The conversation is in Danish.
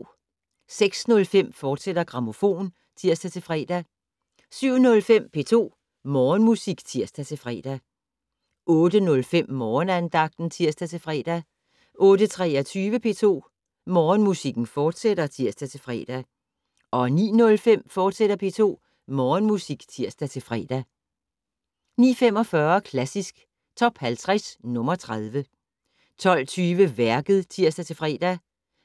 06:05: Grammofon, fortsat (tir-fre) 07:05: P2 Morgenmusik (tir-fre) 08:05: Morgenandagten (tir-fre) 08:23: P2 Morgenmusik, fortsat (tir-fre) 09:05: P2 Morgenmusik, fortsat (tir-fre) 09:45: Klassisk Top 50 - nr. 30 12:20: Værket (tir-fre)